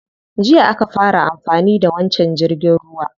Jiya aka fara amfani da wancan jirgin ruwa.